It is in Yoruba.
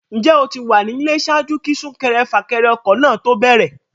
Ǹjẹ́ o ti wà nílé ṣáájú kí súnkẹrẹfàkẹrẹ ọkọ̀ náà ó tó bẹ̀rẹ̀?